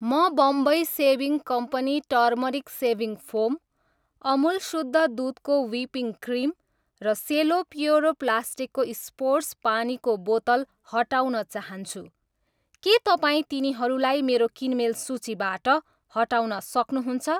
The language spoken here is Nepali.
म Bombay shaving company turmeric shaving foam, Amul शुद्ध दुधको व्हिपिङ्ग क्रिम र सेलो प्योरो प्लास्टिकको स्पोर्ट्स पानीको बोतल हटाउन चाहन्छु, के तपाईँ तिनीहरूलाई मेरो किनमेल सूचीबाट हटाउन सक्नुहुन्छ?